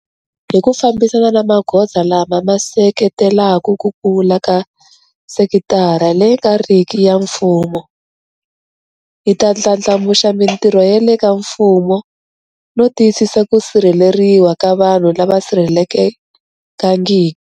Hi ku fambisana na magoza lama ma seketelaka ku kula ka sekitara leyi nga riki ya mfumo, hi ta ndlandlamuxa mitirho ya le ka mfumo no tiyisisa ku sirheleriwa ka vanhu lava sirhelelekangiki.